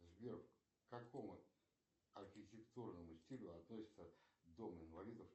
сбер к какому архитектурному стилю относится дом инвалидов